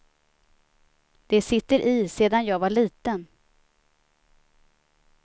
Det sitter i sedan jag var liten.